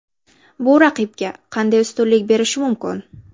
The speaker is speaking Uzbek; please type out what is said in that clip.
Bu raqibga qanday ustunlik berishi mumkin?